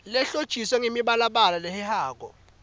lehlotjiswe ngemibalabala lehehako